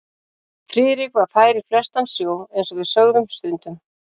Friðrik var fær í flestan sjó eins og við sögðum stundum.